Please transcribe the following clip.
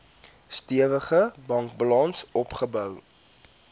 stewige bankbalans opgebou